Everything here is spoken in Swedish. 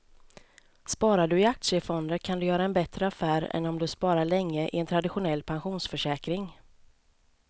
Sparar du i aktiefonder kan du göra en bättre affär än om du sparar länge i en traditionell pensionsförsäkring.